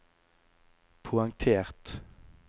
poengtert